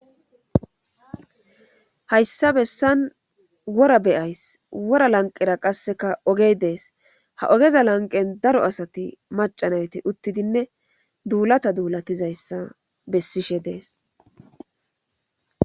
Hayssa bessan wora beyays wora lanqera qasseka ogey dees ha ogeza lanqen daro asati macanayti uttidinne duulata duulatizayssa bessishe dees.